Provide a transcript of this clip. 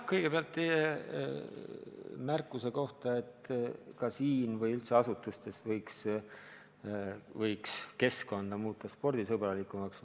Kõigepealt teie märkuse kohta, et ka Riigikogus või üldse asutustes võiks keskkonna muuta spordisõbralikumaks.